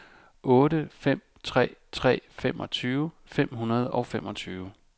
otte fem tre tre femogtyve fem hundrede og femogtyve